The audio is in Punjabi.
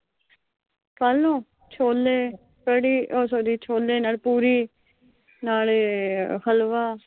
ਕੱਲ ਨੂੰ ਛੋਲੇ, ਕੜੀ ਉਹ ਸੌਰੀ। ਛੋਲੇ ਨਾਲ ਪੂਰੀ, ਨਾਲੇ ਹਲਵਾ।